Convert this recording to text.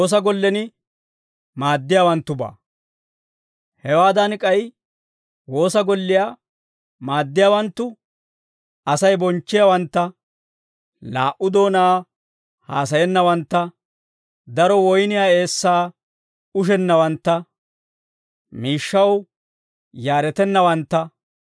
Hewaadan k'ay woosa golliyaa maaddiyaawanttu Asay bonchchiyaawantta, laa"u doonaa haasayennawantta, daro woyniyaa eessaa ushennawantta, miishshaw yaaretennawantta,